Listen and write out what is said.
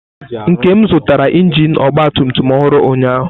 Nkem zụtara injin ọgba tum tum ọhụrụ ụnyahụ.